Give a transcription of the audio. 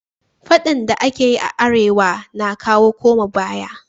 faɗan da akeyi a arewa na kawo koma baya